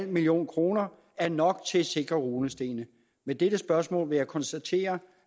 million kroner er nok til at sikre runestenene med dette spørgsmål vil jeg konstatere